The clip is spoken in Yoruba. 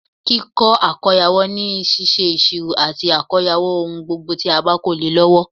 Kíkó àkóyawọ́ ni síse ìsirò àti àkóyawọ́ ohun gbogbo tí a ba ko le e lọwọ